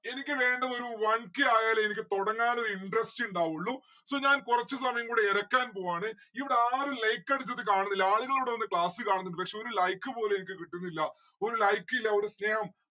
എനിക്ക് വേണ്ട ഒരു one K ആയാലേ എനിക്ക് തൊടങ്ങാനൊരു interest ഇണ്ടാവുള്ളു. so ഞാൻ കൊറച്ചു സമയം കൂടെ എരക്കാൻ പോവാണ് ഇവിടെ ആരും like അടിച്ചിട്ട് കാണുന്നില്ല ആളുകൾ ഇവിടെ വന്ന് class കാണുന്നിണ്ട്‌ പക്ഷെ ഒരു like പോള് എനിക്ക് കിട്ടുന്നില്ല. ഒരു like ഇല്ല ഒരു സ്നേഹം